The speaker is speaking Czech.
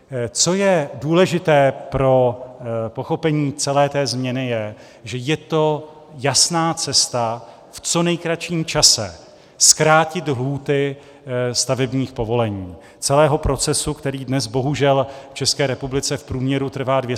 Co je důležité pro pochopení celé té změny, je, že je to jasná cesta v co nejkratším čase zkrátit lhůty stavebních povolení, celého procesu, který dnes bohužel v České republice v průměru trvá 246 dnů.